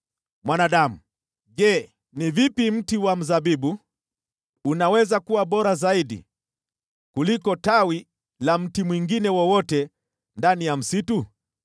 “Mwanadamu, je, ni vipi mti wa mzabibu unaweza kuwa bora zaidi kuliko tawi la mti mwingine wowote ndani ya msitu?